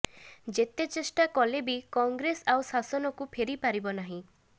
ଯେତେଚେଷ୍ଟା କଲେ ବି କଂଗ୍ରେସ ଆଉ ଶାସନକୁ ଫେରିପାରିବ ନାହିଁ